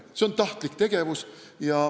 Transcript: See on tahtlik tegevus.